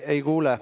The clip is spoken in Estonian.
Ei kuule.